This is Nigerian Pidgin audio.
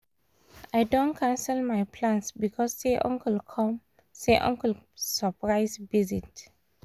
i don cancel my plans because say uncle come uncle come surprise visit